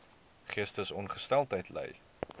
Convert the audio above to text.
geestesongesteldheid ly